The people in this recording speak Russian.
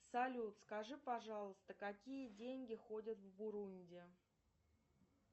салют скажи пожалуйста какие деньги ходят в бурунди